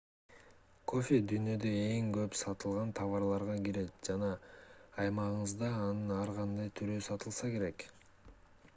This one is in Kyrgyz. кофе дүйнөдө эң көп сатылган товарларга кирет жана аймагыңызда анын ар кандай түрү сатылса керек